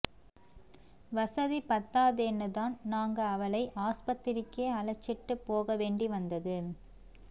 வசதி பத்தாதேன்னு தான் நாங்க அவளை ஆஸ்பத்திரிக்கே அழைச்சிட்டுப் போகவேண்டி வந்தது